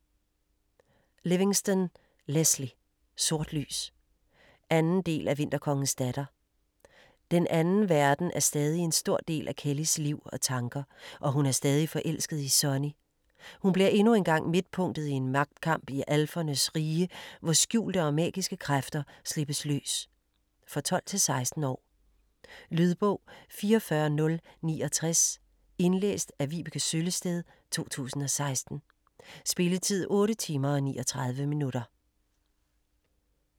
Livingston, Lesley: Sort lys 2. del af Vinterkongens datter. "Den anden verden" er stadig en stor del af Kellyes liv og tanker, og hun er stadig forelsket i Sonny. Hun bliver endnu engang midtpunktet i en magtkamp i alfernes rige, hvor skjulte og magiske kræfter slippes løs. For 12-16 år. Lydbog 44069 Indlæst af Vibeke Søllested, 2016. Spilletid: 8 timer, 39 minutter.